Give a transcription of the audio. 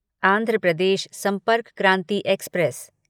Andhra Pradesh Sampark Kranti express